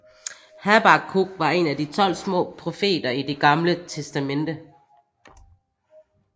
Habakkuk var en af de 12 små profeter i Det Gamle Testamente